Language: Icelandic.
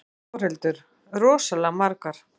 Þórhildur: Rosalega margar?